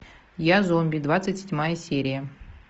я зомби двадцать седьмая серия